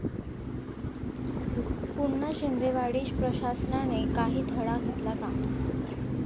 पुन्हा शिंदेवाडी!, प्रशासनाने काही धडा घेतला का?